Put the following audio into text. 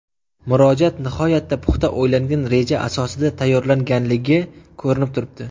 Murojaat nihoyatda puxta o‘ylangan reja asosida tayyorlanganligi ko‘rinib turibdi.